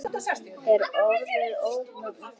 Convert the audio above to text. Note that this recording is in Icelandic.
Er orðið ógnanir til?